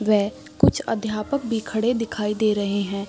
वे कुछ अध्यापक भी खड़े हुए दिखाई दे रहे हैं।